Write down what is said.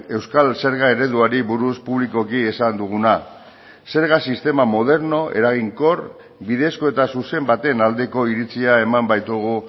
euskal zerga ereduari buruz publikoki esan duguna zerga sistema moderno eraginkor bidezko eta zuzen baten aldeko iritzia eman baitugu